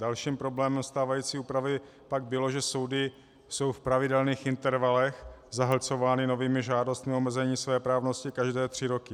Dalším problémem stávající úpravy pak bylo, že soudy jsou v pravidelných intervalech zahlcovány novými žádostmi o omezení svéprávnosti každé tři roky.